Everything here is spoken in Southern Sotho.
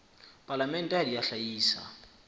palamente ha di a hlahisa